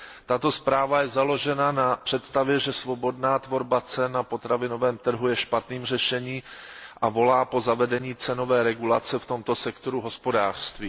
Tato zpráva je založena na představě, že svobodná tvorba cen na potravinovém trhu je špatným řešením, a volá po zavedení cenové regulace v tomto sektoru hospodářství.